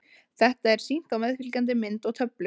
Þetta er sýnt á meðfylgjandi mynd og töflu.